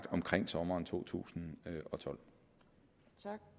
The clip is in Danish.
omkring sommeren totusinde